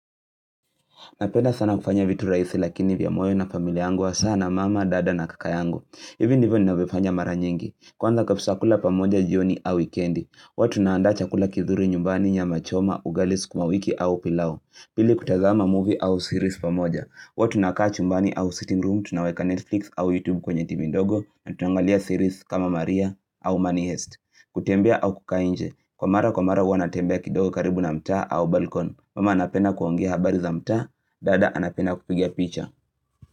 Napenda sana kufanya vitu rahisi lakini vya moyo na familia yangu hasaa na mama, dada na kaka yangu. Hivi ndivyo ninavyofanya mara nyingi. Kwanza kabisa kula pamoja jioni au wikendi. Hua tunaanda chakula kizuri nyumbani nyama choma, ugali sukumawiki au pilao. Pili kutazama movie au series pamoja. Hua tunakaa chumbani au sitting room, tunaweka Netflix au YouTube kwenye tv ndogo. Na tunangalia series kama maria au money heist. Kutembea au kukaa nje. Kwa mara kwa mara huwa natembea kidogo karibu na mtaa au balkon. Mama anapenda kuongea habari za mtaa, dada anapenda kupiga picha.